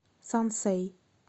сансэй